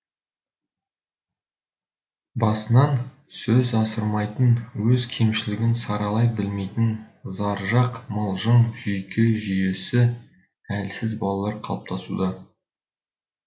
басынан сөз асырмайтын өз кемшілігін саралай білмейтін заржақ мылжың жүйке жүйесі әлсіз балалар қалыптасуда